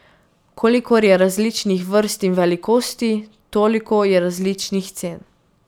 Kolikor je različnih vrst in velikosti, toliko je različnih cen.